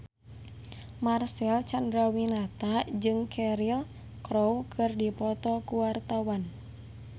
Marcel Chandrawinata jeung Cheryl Crow keur dipoto ku wartawan